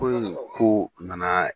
Ko in ko nana.